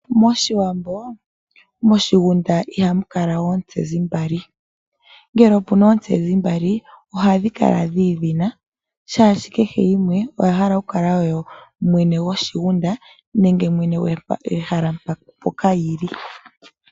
MOshiwambo, moshigunda ihamu kala oontsezi mbali, ngele opuna oontsezi mbali ohadhi kala dhi idhina, shaashi kehe yimwe oya hala okukala oyo mwene gwoshigunda nenge mwene gwehala mpoka yi li.